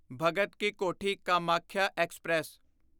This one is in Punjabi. ਭਗਤ ਕਿ ਕੋਠੀ ਕਾਮਾਖਿਆ ਐਕਸਪ੍ਰੈਸ